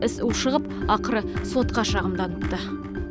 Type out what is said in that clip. іс ушығып ақыры сотқа шағымданыпты